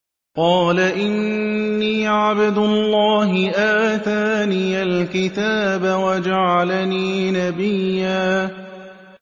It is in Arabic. قَالَ إِنِّي عَبْدُ اللَّهِ آتَانِيَ الْكِتَابَ وَجَعَلَنِي نَبِيًّا